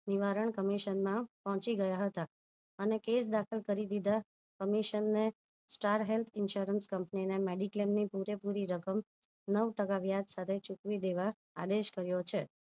નિવારણ કમીશનમાં પોહોચી ગયા હતા અને case દાખલ કરી દીધા કમીશન ને star health insurance ને mediclaim ની પૂરે પૂરી રકમ નવ ટકા વ્યાજ સાથે ચૂકવી દેવા આદેશ કર્યો છે